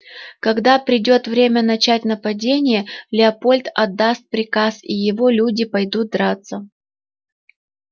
когда придёт время начать нападение леопольд отдаст приказ и его люди пойдут драться